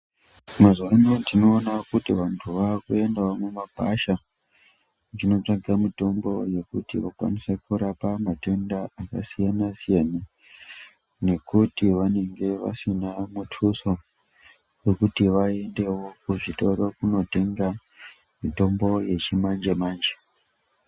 Mazuva ano tinoona kuti vantu vakuendawo mumagwasha vachinotsvake mitombo yekuti vakwanise kurapa matenda akasiyana siyana nekuti vanenge vasina muthuso wekuti vaendewo kuzvitoro kunotenga mitombo yechimanje manje.